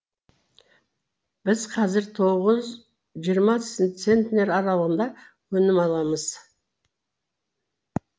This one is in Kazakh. біз қазір тоғыз жиырма центнер аралығында өнім аламыз